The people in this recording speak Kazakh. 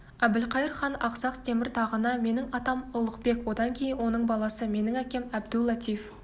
әбілқайыр хан ақсақ темір тағына менің атам ұлықбек одан кейін оның баласы менің әкем әбду-латиф